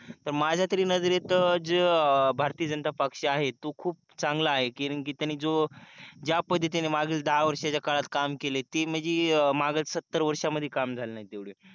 तर माझ्या तरी नजरेत भारतीय जनता पक्ष आहे तो खूप चांगला आहे कारण कि त्याने जो ज्यापद्धतीने मागील दहा वर्षाच्या काळात काम केलंय ते म्हणजे मागील सत्तर वर्षांमध्ये काम झालं नाही तेवढे